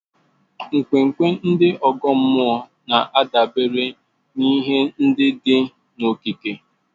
Nkwenkwe ndị ọgọ mmụọ na-adabere n'ihe ndị dị n'okike.